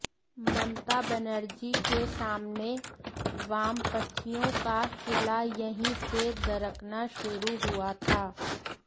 ममता बनर्जी के सामने वामपंथियों का किला यहीं से दरकना शुरू हुआ था